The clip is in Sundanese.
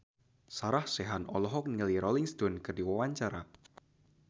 Sarah Sechan olohok ningali Rolling Stone keur diwawancara